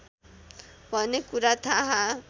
भन्ने कुरा थाहा